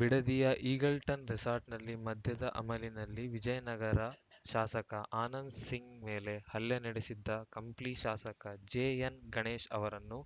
ಬಿಡದಿಯ Eagleton ರೆಸಾರ್ಟ್‌ನಲ್ಲಿ ಮದ್ಯದ ಅಮಲಿನಲ್ಲಿ ವಿಜಯನಗರ ಶಾಸಕ ಆನಂದ್‌ ಸಿಂಗ್‌ ಮೇಲೆ ಹಲ್ಲೆ ನಡೆಸಿದ್ದ ಕಂಪ್ಲಿ ಶಾಸಕ ಜೆಎನ್‌ಗಣೇಶ್‌ ಅವರನ್ನು